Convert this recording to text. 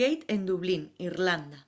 gate en dublín irlanda